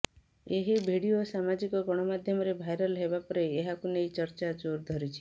ଏହି ଭିଡିଓ ସାମାଜିକ ଗଣମାଧ୍ୟମରେ ଭାଇରାଲ ହେବା ପରେ ଏହାକୁ ନେଇ ଚର୍ଚ୍ଚା ଜୋର ଧରିଛି